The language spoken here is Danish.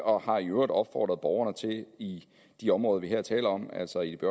og har i øvrigt opfordret borgerne i de områder vi her taler om altså i de